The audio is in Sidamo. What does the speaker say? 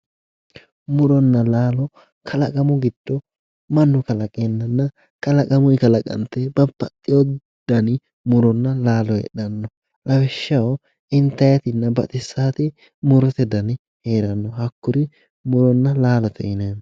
muronna laalo kalaqamu giddo mannu kalaqeennanna kalaqamunni kalaqante babbaxino dani muronna laalo heedhanno lawishshaho intannitinna baxissaati murote dani heeranno hakkuri muronna laalote yinanni.